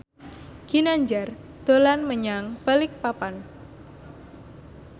Ginanjar dolan menyang Balikpapan